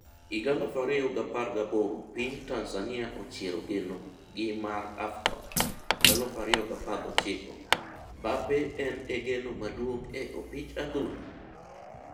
2018 piny Tanzania ochiero geno gi mar Afcon .2019 Mbappe en e geno maduong' e opich adhula?